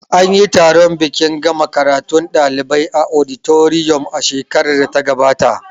Anyi taron bikin gama karatun ɗalibai a auditorium a shekarar da ta gabata